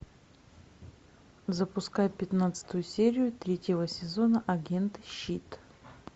запускай пятнадцатую серию третьего сезона агенты щит